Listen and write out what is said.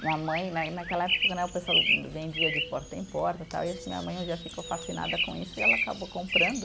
Minha mãe né, e naquela época né, o pessoal vendia de porta em porta, tal, e acho que minha mãe um dia ficou fascinada com isso e ela acabou comprando.